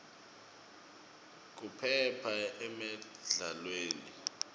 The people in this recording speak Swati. kuphepha emidlalweni